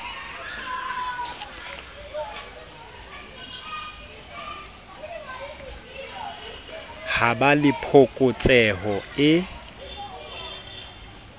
ha ba le phokotseho e